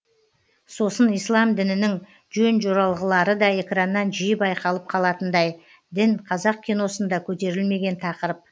сосын ислам дінінің жөн жоралғылары да экраннан жиі байқалып қалатындай дін қазақ киносында көтерілмеген тақырып